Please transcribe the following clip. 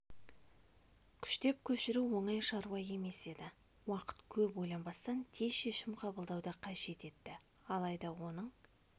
күштеп көшіру оңай шаруа емес еді уақыт көп ойланбастан тез шешім қабылдауды қажет етті алайда оның